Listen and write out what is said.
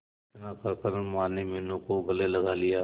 इतना कहकर माने मीनू को गले लगा लिया